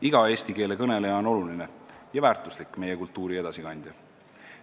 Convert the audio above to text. Iga eesti keele kõneleja on oluline ja väärtuslik meie kultuuri edasikandja.